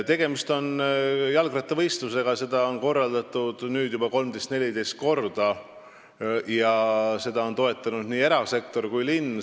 Tegemist on jalgrattavõistlusega, seda on korraldatud nüüd juba 13 või 14 korda ja seda on toetanud nii erasektor kui ka linn.